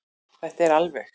Þetta er alveg.